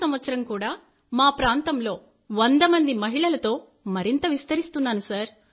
ఈ సంవత్సరం కూడా మా ప్రాంతంలో 100 మంది మహిళలతో మరింత విస్తరిస్తున్నాను